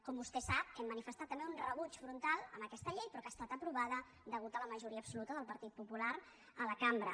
com vostè sap hem manifestat també un rebuig frontal a aquesta llei però que ha estat aprovada a causa de la majoria absoluta del partit popular a la cambra